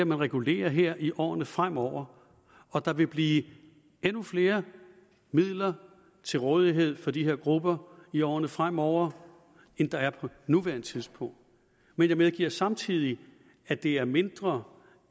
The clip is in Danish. man regulerer her i årene fremover og der vil blive endnu flere midler til rådighed for de her grupper i årene fremover end der er på nuværende tidspunkt men jeg medgiver samtidig at det er mindre